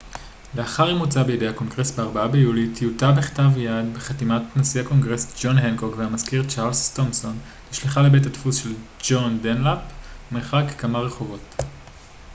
לאחר אימוצה בידי הקונגרס ב-4 ביולי טיוטה בכתב יד בחתימת נשיא הקונגרס ג'ון הנקוק והמזכיר צ'רלס תומסון נשלחה לבית הדפוס של ג'ון דנלאפ מרחק כמה רחובות